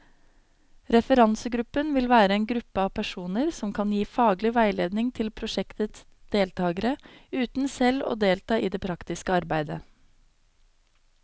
Referansegruppen vil være en gruppe av personer som kan gi faglig veiledning til prosjektets deltagere, uten selv å delta i det praktiske arbeidet.